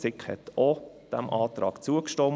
Die SiK hat diesem Antrag auch zugestimmt.